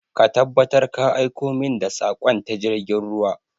Ka tabbatar ka aiko min da saƙon ta jirgin ruwa!